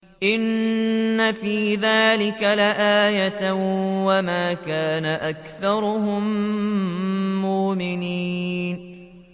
إِنَّ فِي ذَٰلِكَ لَآيَةً ۖ وَمَا كَانَ أَكْثَرُهُم مُّؤْمِنِينَ